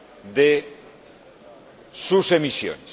de sus emisiones.